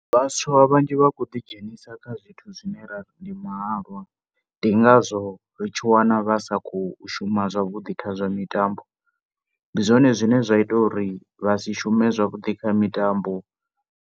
Vhaswa vhanzhi vha khou ḓi dzhenisa kha zwithu zwine rari ndi mahalwa. Ndi ngazwo u tshi wana vha sa khou shuma zwavhuḓi kha zwa mitambo. Ndi zwone zwine zwa ita uri vha si shume zwavhuḓi kha mitambo.